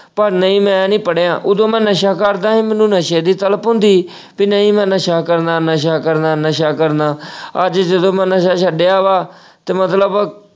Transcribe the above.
ਪਰ ਨਹੀਂ ਮੈਂ ਨਹੀਂ ਪੜ੍ਹਿਆ, ਉਹਦੋ ਮੈਂ ਨਸ਼ਾ ਕਰਦਾ ਸੀ ਮੈਨੂੰ ਨਸ਼ੇ ਦੀ ਤਲਬ ਹੁੰਦੀ ਸੀ ਕਿ ਨਹੀਂ ਮੈਂ ਨਸ਼ਾ ਕਰਨਾ, ਨਸ਼ਾ ਕਰਨਾ, ਨਸ਼ਾ ਕਰਨਾ ਅਹ ਅੱਜ ਜਦੋਂ ਮੈਂ ਛੱਡਿਆ ਵਾ ਤੇ ਮਤਲਬ।